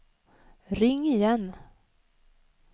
ring igen